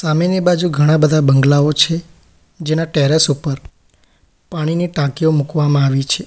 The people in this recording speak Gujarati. સામેની બાજુ ઘણા બધા બંગલાઓ છે જેના ટેરેસ ઉપર પાણીની ટાંકીઓ મૂકવામાં આવી છે.